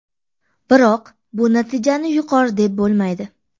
Biroq bu natijani yuqori deb bo‘lmaydi.